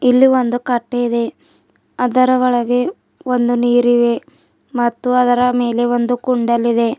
ಇಲ್ಲಿ ಒಂದು ಕಟ್ಟೆ ಇದೆ ಅದರ ಒಳಗೆ ಒಂದು ನೀರಿವೆ ಮತ್ತು ಅದರ ಮೇಲೆ ಒಂದು ಕುಂಡಲ್ ಇದೆ.